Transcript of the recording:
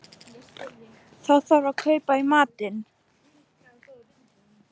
Þá þarf að kaupa í matinn